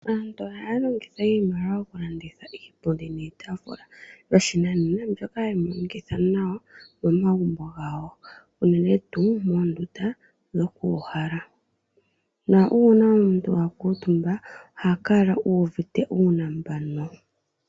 Aantu ohaya longitha iimaliwa oku landitha iipundi niitafula yoshinanena. Mbyoka hayi monikithitha nawa momagumbo gawo unene tuu moondunda dhoku uuhala. Na una omuntu akuntumba oha kala uvite uunambano.